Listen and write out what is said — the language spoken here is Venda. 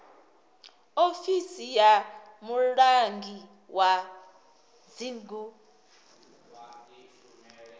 ofisi ya mulangi wa dzingu